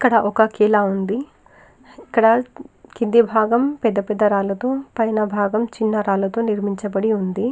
ఇక్కడ ఒక ఖిలా ఉంది. ఇక్కడ కింది భాగం పెద్ద పెద్ద రాళ్లతో పైన భాగం చిన్న రాళ్లతో నిర్మించబడిఉంది.